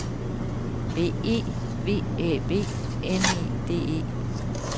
B E V Æ B N E D E